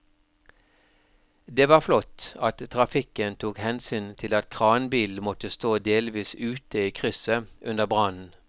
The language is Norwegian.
Det var flott at trafikken tok hensyn til at kranbilen måtte stå delvis ute i krysset under brannen.